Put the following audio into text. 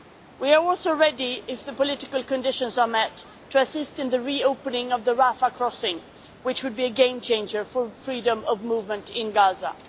We are also ready if the political conditions are met to assist in the re opening of the Rafah crossing, which would be a game changer for freedom of movement in Gaza.